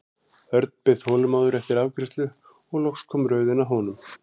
Örn beið þolinmóður eftir afgreiðslu og loks kom röðin að honum.